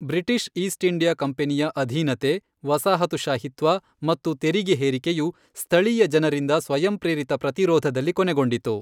British East India ಕಂಪನಿಯ ಅಧೀನತೆ, ವಸಾಹತುಶಾಹಿತ್ವ ಮತ್ತು ತೆರಿಗೆ ಹೇರಿಕೆಯು, ಸ್ಥಳೀಯ ಜನರಿಂದ ಸ್ವಯಂಪ್ರೇರಿತ ಪ್ರತಿರೋಧದಲ್ಲಿ ಕೊನೆಗೊಂಡಿತು.